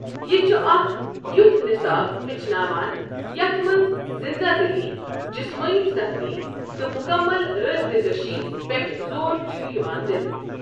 یہِ چھُ اکھ یُتھ نِصاب ہچھناوان یتھ منٛز زِنٛدٕ دِلی، جسمٲنی سختی، تہٕ مُکمل رابِطہٕ کشی پٮ۪ٹھ زور چھُ یِوان دِنہٕ۔